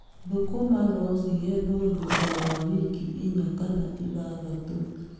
Thũkũma no cigethwo thutha wa wiki inya kana ithathatũ.